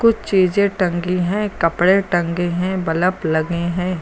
कुछ चीजे टंगी हैं कपड़े टंगे हैं बल्ब लगे हैं।